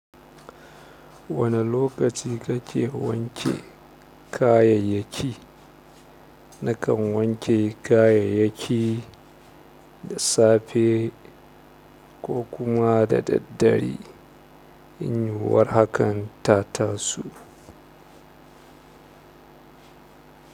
Wane lokaci kake wanke kayayyaki? Nakan wanke kayayyaki da safe ko kuma da daddare. In yiwuwar hakan ta taso.